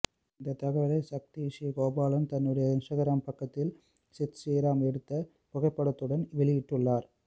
இந்தத் தகவலை சக்தி ஶ்ரீ கோபாலன் தன்னுடைய இன்ஸ்டாகிராம் பக்கத்தில் சித் ஶ்ரீராமுடன் எடுத்த புகைப்படத்துடன் வெளியிட்டுள்ளார்